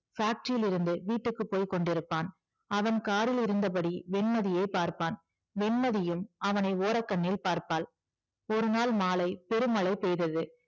factory யில் இருந்து வீட்டுக்கு போய்க்கொண்டு இருப்பான் அவன் காரிலிருந்தபடி வெண்மதியை பார்ப்பான் வெண்மதியும் அவனை ஓரக்கண்ணில் பார்ப்பாள் ஒருநாள் மாலை பெருமழை பெய்தது